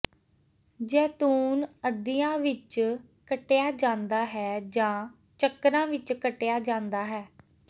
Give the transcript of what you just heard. ਜੈਤੂਨ ਅੱਧਿਆਂ ਵਿਚ ਕੱਟਿਆ ਜਾਂਦਾ ਹੈ ਜਾਂ ਚੱਕਰਾਂ ਵਿਚ ਕੱਟਿਆ ਜਾਂਦਾ ਹੈ